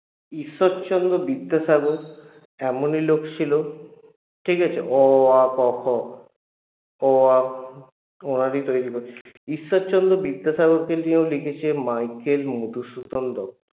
ঈশ্বরচন্দ্র বিদ্যাসাগর এমনই লোক ছিল ঠিকাছে? অ আ ক খ অ আ উনারই তৈরি ঈশ্বরচন্দ্র বিদ্যাসাগরকে নিয়েও লিখেছে মাইকেল মধুসূদন দত্ত